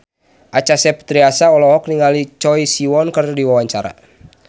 Acha Septriasa olohok ningali Choi Siwon keur diwawancara